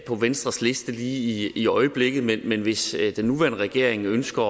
på venstres liste lige i øjeblikket men hvis den nuværende regering ønsker